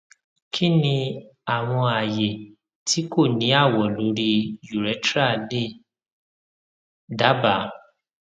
kini awọn aaye ti ko ni awọ lori urethra le daba